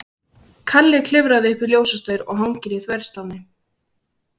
Kalli klifrar upp í ljósastaur og hangir í þverslánni.